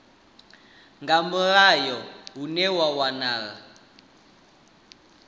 nga mulayo hune ha wanala